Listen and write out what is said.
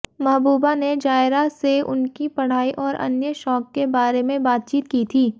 महबूबा ने जायरा से उनकी पढ़ाई और अन्य शौक के बारे में बातचीत की थी